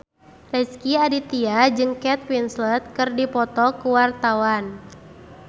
Rezky Aditya jeung Kate Winslet keur dipoto ku wartawan